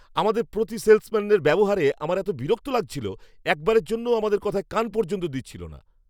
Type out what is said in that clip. আমাদের প্রতি সেলসম্যানদের ব্যবহারে আমার এত বিরক্ত লাগছিল! একবারের জন্যও আমাদের কথায় কান পর্যন্ত দিচ্ছিল না!